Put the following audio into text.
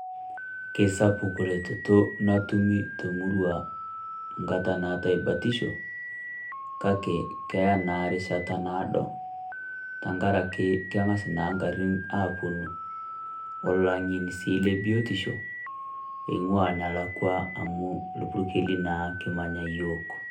kesapuk retoto natumi temurua tenkata natai batisho kake keyaa naa rishata nadoo tenkaraki keng'as naa ngarin apuoo olang'eni sii lebiotisho eing'uaa enelakua amu ilpurkeli naa kimanya yiook